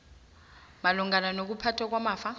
malungana nokuphathwa kwamafa